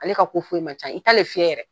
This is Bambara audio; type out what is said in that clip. Ale ka ko foyi ma ca i t'ale fiyɛ yɛrɛ.